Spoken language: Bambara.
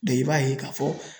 i b'a ye k'a fɔ